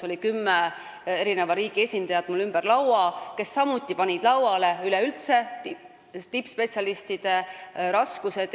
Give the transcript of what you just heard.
Kümne riigi esindajad olid ümber laua, kes samuti rääkisid üleüldse tippspetsialistide leidmise raskusest.